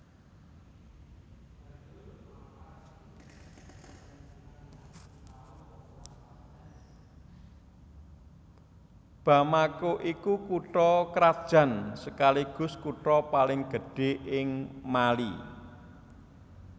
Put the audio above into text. Bamako iku kutha krajan sekaligus kutha paling gedhé ing Mali